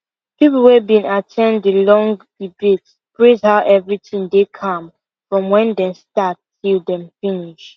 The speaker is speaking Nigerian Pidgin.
people wey been at ten d the long debate praise how everything dey calm from when dem start till dem finish